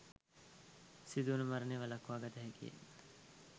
සිදුවන මරණ වලක්වා ගත හැකියි.